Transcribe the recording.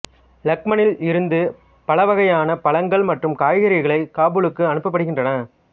லக்மானில் இருந்து பலவகையான பழங்கள் மற்றும் காய்கறிகளை காபூலுக்கு அனுப்பப்படுகின்றன